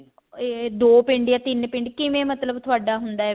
ਅਮ ਦੋ ਪਿੰਡ ਜਾਂ ਤਿੰਨ ਪਿੰਡ ਕਿਵੇਂ ਮਤਲਬ ਤੁਹਾਡਾ ਹੁੰਦਾ ਵੀ